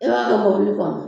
E b'a kɛ mobili kɔnɔ